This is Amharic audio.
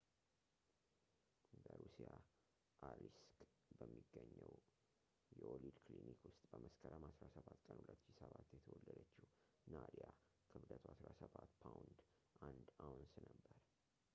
በሩሲያ አሊስክ በሚገኘው የወሊድ ክሊኒክ ውስጥ በመስከረም 17 ቀን 2007 የተወለደችው ናዲያ ክብደቷ 17 ፓውንድ 1 አውንስ ነበር